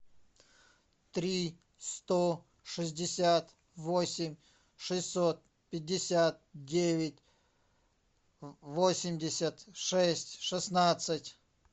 три сто шестьдесят восемь шестьсот пятьдесят девять восемьдесят шесть шестнадцать